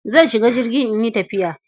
Zan shiga jirgi in yi tafiya.